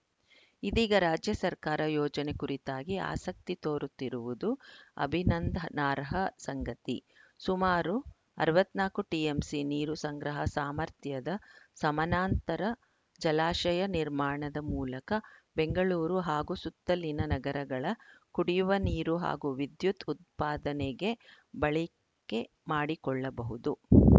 ಇದೀಗ ರಾಜ್ಯ ಸರ್ಕಾರ ಯೋಜನೆ ಕುರಿತಾಗಿ ಆಸಕ್ತಿ ತೋರುತ್ತಿರುವುದು ಅಭಿನಂದನಾರ್ಹ ಸಂಗತಿ ಸುಮಾರು ಅರವತ್ತ್ ನಾಲ್ಕು ಟಿಎಂಸಿ ನೀರು ಸಂಗ್ರಹ ಸಾಮರ್ಥ್ಯದ ಸಮಾನಾಂತರ ಜಲಾಶಯ ನಿರ್ಮಾಣದ ಮೂಲಕ ಬೆಂಗಳೂರು ಹಾಗೂ ಸುತ್ತಲಿನ ನಗರಗಳ ಕುಡಿಯುವ ನೀರು ಹಾಗೂ ವಿದ್ಯುತ್‌ ಉತ್ಪಾದನೆಗೆ ಬಳಿಕೆ ಮಾಡಿಕೊಳ್ಳಬಹುದು